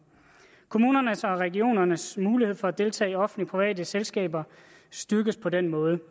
kommunernes og regionernes mulighed for at deltage i offentligt private selskaber styrkes på den måde